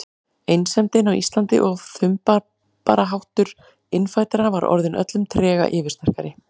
Einsemdin á Íslandi og þumbaraháttur innfæddra var orðin öllum trega yfirsterkari.